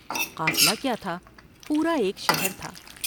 قافلہ کیا تھا پورا ایک شہر تھا ۔